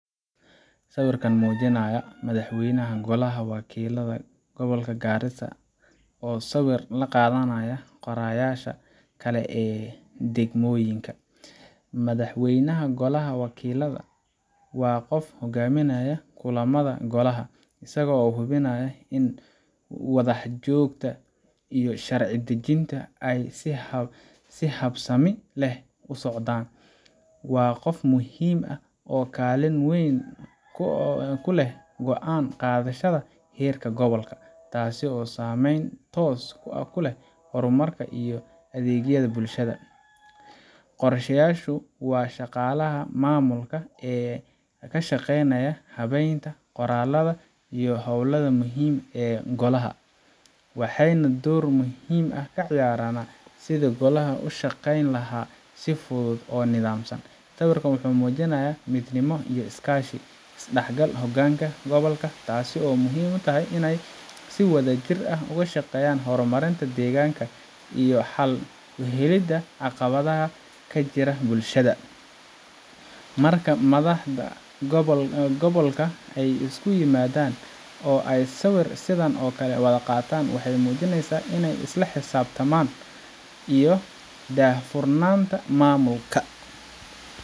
Sawirkan wuxuu muujinayaa Madaxweynaha Golaha Wakiillada Gobolka Garissa oo sawir la qaadanaya qoraayaasha kale ee degmooyinka. Madaxweynaha Golaha Wakiillada waa qofka hoggaaminaya kulamada Golaha, isaga oo hubinaya in wadaxaajoodka iyo sharci dejintu ay si habsami leh u socdaan. Waa qof muhiim ah oo kaalin weyn ku leh go’aan qaadashada heerka gobolka, taasoo saamayn toos ah ku leh horumarka iyo adeegyada bulshada. Qoraayaashu waa shaqaalaha maamulka ee ka shaqeeya habaynta qoraalada iyo hawlaha muhiimka ah ee golaha, waxayna door muhiim ah ka ciyaaraan sidii golaha uu u shaqayn lahaa si hufan oo nidaamsan. Sawirkan wuxuu muujinayaa midnimo iyo iskaashi is dhexgal hogaanka gobolka, taasoo muhiim u ah inay si wadajir ah uga shaqeeyaan horumarinta deegaanka iyo xal u helidda caqabadaha ka jira bulshada. Marka madaxda gobolka ay isku yimaadaan oo ay sawir sidan oo kale ah qaataan, waxay muujinayaan isla xisaabtanka iyo daahfurnaanta maamulka.